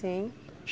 Sim.